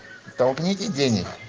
толкните денег